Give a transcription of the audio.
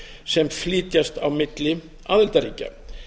sem flytjast á milli aðildarríkja